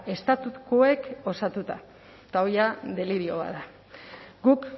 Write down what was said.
estatukoek osatuta eta hori jada delirioa da guk